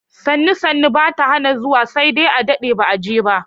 Sannu-sannu bata hana zuwa, sai dai a daɗe ba a je ba.